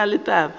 ga ke na taba le